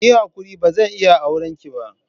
Kiyi hakuri bazan iya aurenki ba.